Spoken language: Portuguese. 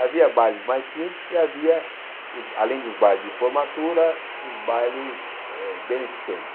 Havia bailes mais simples e havia, os além dos bailes de formatura, os bailes eh beneficentes.